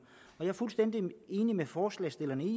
jeg er fuldstændig enig med forslagsstillerne